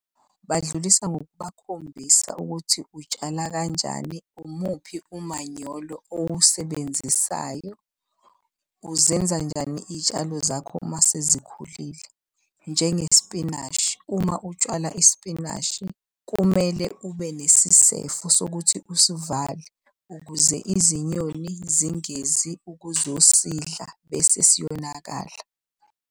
Badlulisa ngokubakhombisa ukuthi utshala kanjani, umuphi umanyolo owusebenzisayo. Uzenza njani iy'tshalo zakho uma sezikhulile. Njengesipinashi, uma utshwala isipinashi, kumele ube nesisefo sokuthi usivale, ukuze izinyoni zingezi ukuzosidla bese siyonakala.